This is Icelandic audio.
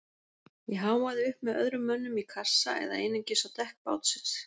Ég háfaði upp með öðrum mönnum í kassa eða einungis á dekk bátsins.